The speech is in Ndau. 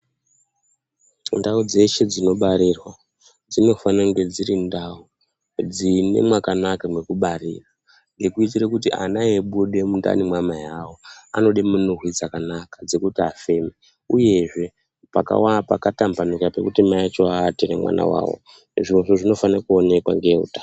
Ndau dzeshe dzinobarirwa dzinofane kunge dziri ndau dzine mwakanaka mwekubarira dzekuitire kuti ana eibude mundani mweana mai avo anode minhuhwi dzakanaka dzekuti afeme, mwakatambanuka mwekuti mai acho aate nemwana wavo. Zvirozvo zvinofanire kuonekwa ngeveutano.